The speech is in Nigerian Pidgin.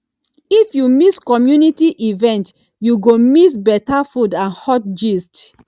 if you miss community event you go miss better food and hot gist